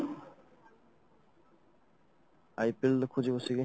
IPL ଦେଖୁଛି ବସିକି